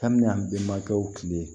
K'an bɛ yan benbakew kile